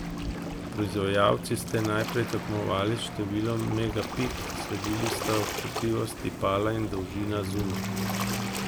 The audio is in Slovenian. Proizvajalci ste najprej tekmovali s številom megapik, sledili sta občutljivost tipala in dolžina zuma.